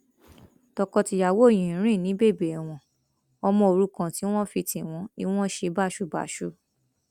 tọkọtìyàwó yìí ń rìn ní bèbè ẹwọn ọmọ òrukàn tí wọn fi tì wọn ni wọn ṣe báṣubàṣu